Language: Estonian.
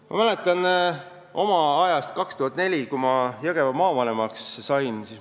Ma mäletan aastat 2004, kui ma Jõgeva maavanemaks sain.